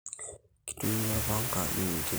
Kitumiai orpanga adung intimi